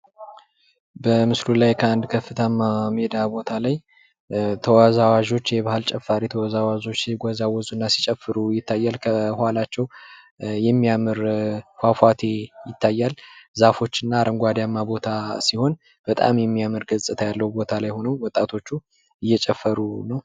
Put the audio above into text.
በምሥሉ ላይ ከአንድ ከፍታማ ሜዳ ቦታ ላይ ተወዛዋዥዎች የባህል ጭማሪ ተወዛዋዥዎች ሲወዛወዙ እና ሲጨፍሩ ይታያል። ከኋላቸው የሚያምር ፏፏቴ ይታያል። ዛፎችን አረንጓዴያማ ቦታ ሲሆን ፤ በጣም የሚያምር ገጽታ ያለው ቦታ ላይ ሆኖ ወጣቶቹ እየጨፈሩ ነው።